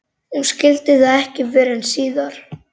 Hún skildi það ekki fyrr en síðar.